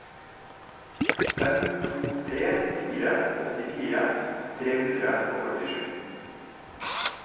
fem to tre fire åttifire tre hundre og førtisju